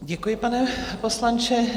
Děkuji, pane poslanče.